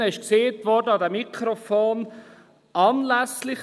Es wurde an diesen Mikrofonen gesagt: